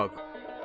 Bana bax.